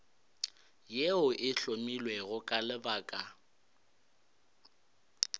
yeo e hlomilwego ka lebaka